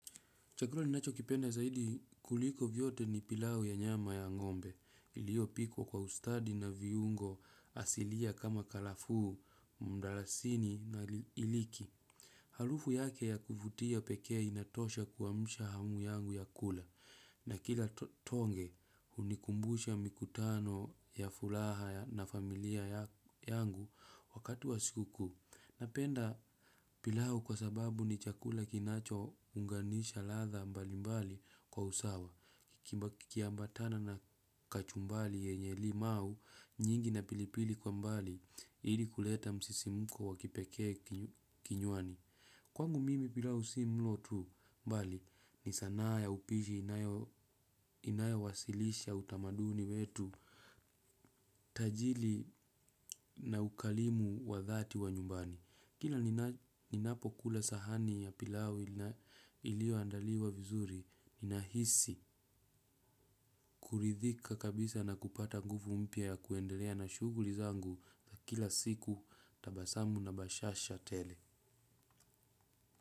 Chakula ninachokipenda zaidi kuliko vyote ni pilau ya nyama ya ngombe iliyopikwa kwa ustadi na viungo asilia kama karafuu, mdarasini na iliki. Harufu yake ya kuvutia pekee inatosha kuamsha hamu yangu ya kula na kila tonge hunikumbusha mikutano ya furaha na familia yangu wakati wa siku kuu. Napenda pilau kwa sababu ni chakula kinachounganisha ladha mbalimbali kwa usawa kikiambatana na kachumbari yenye limau nyingi na pilipili kwa mbali ili kuleta msisimko wa kipekee kinywani. Kwangu mimi pilau si mlo tu mbali ni sanaa ya upishi inayo inayo wasilisha utamaduni wetu tajiri na ukarimu wa dhati wa nyumbani. Kila ninapokula sahani ya pilau iliyoandaliwa vizuri ninahisi kuridhika kabisa na kupata nguvu mpya ya kuendelea na shuguli zangu za kila siku tabasamu na bashasha tele.